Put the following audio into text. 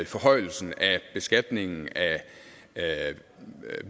forhøjelsen af beskatningen af